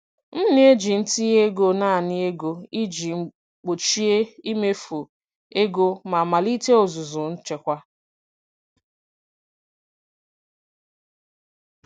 M na-eji ntinye ego naanị ego iji gbochie imefu ego ma melite ọzụzụ nchekwa.